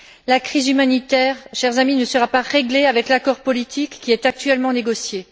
La crise humanitaire, chers amis, ne sera pas réglée avec l'accord politique qui est actuellement négocié.